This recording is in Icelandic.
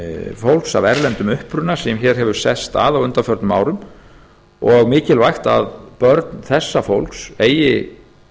fólks af erlendum uppruna sem hér hefur sest að á undanförnum árum og mikilvægt að börn þessa fólks eigi